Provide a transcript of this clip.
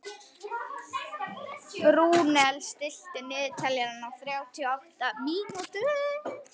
Rúnel, stilltu niðurteljara á þrjátíu og átta mínútur.